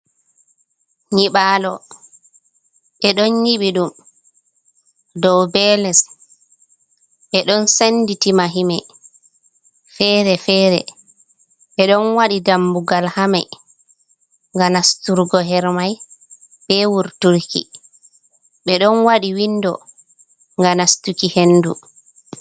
Nyiɓalo ɓe ɗon nyiɓi ɗum dow be les, ɓe ɗon sendi ti mahimai fere-fere, ɓe ɗon waɗi damugal ha mai, ngam nasturgo hermai, be wurturki, ɓe ɗon waɗi windo ga nastuki hendu.